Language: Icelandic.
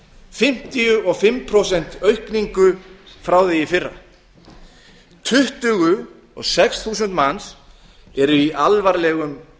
fimmtíu og fimm prósent aukningu frá því í fyrra tuttugu og sex þúsund manns eru í alvarlegum